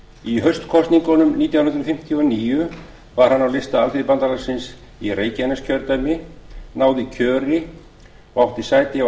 í haustkosningunum nítján hundruð fimmtíu og níu var hann á lista alþýðubandalagsins í reykjaneskjördæmi náði kjöri og átti sæti á